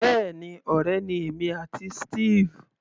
Bẹ́ẹ̀ni, ọ̀rẹ́ ni èmi àti Steve.